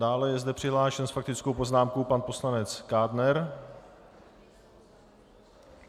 Dále je zde přihlášen s faktickou poznámkou pan poslanec Kádner.